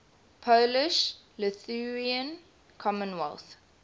polish lithuanian commonwealth